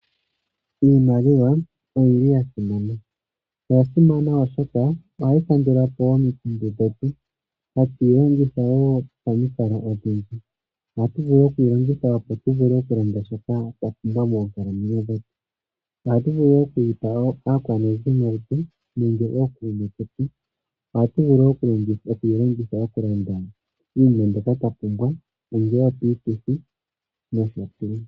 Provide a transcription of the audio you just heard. Iimaliwa oyi li ya simana. Oya simana oshoka ohayi kandula po omikundu dhetu. Hatu yi longitha wo pamikalo odhindji. Ohatu vulu oku yi longitha, opo tu lande shoka twa pumbwa moonkalamwenyo dhetu. ohatu vulu oku yi pa aakwanezimo yetu nenge ookuume ketu. Ohatu vulu oku yi longitha okulanda iinima mbyoka twa pumbwa ongele opiituthi nosho tuu.